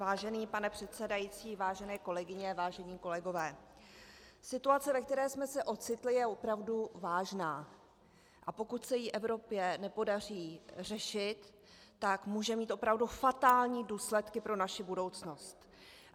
Vážený pane předsedající, vážené kolegyně, vážení kolegové, situace, ve které jsme se ocitli, je opravdu vážná, a pokud se jí Evropě nepodaří řešit, tak může mít opravdu fatální důsledky pro naši budoucnost.